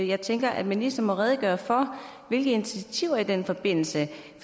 jeg tænker at ministeren må redegøre for hvilke initiativer i den forbindelse